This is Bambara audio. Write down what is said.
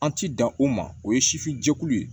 An ti dan o ma o ye sifin jɛkulu ye